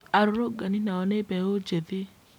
Arũrũngani nao nĩ mbeũ njĩthĩ